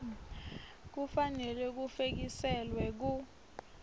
kufanele bufekiselwe ku